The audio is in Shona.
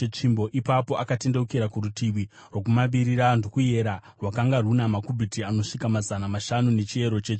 Ipapo akatendeukira kurutivi rwokumavirira ndokuyera; rwakanga runa makubhiti anosvika mazana mashanu nechiyero chetsvimbo.